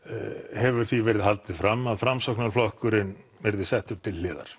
hefur því verið haldið fram að Framsóknarflokkurinn verði settur til hliðar